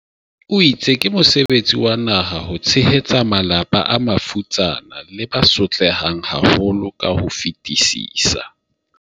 o itse ke mo sebetsi wa naha ho tshehetsa malapa a mafutsana le ba so tlehang haholo ka ho fetisisa.